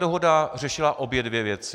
Dohoda řešila obě dvě věci.